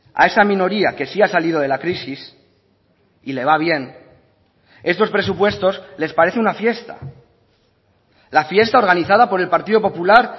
a esa minoría que sí ha salido de la crisis y le va bien estos presupuestos les parece una fiesta la fiesta organizada por el partido popular